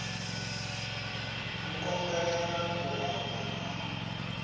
u konḓelela u hanya na